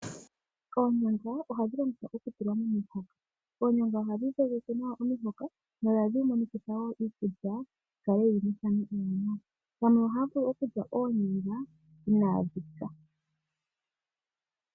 Oonyanga ohadhi longithwa okutulwa momihoka. Oonyanga ohadhi dhogeke nawa omihoka, nohadhi monikitha wo iikulya nawa. Aantu yamwe ohaya vulu okulya oonyanga inaadhi pya.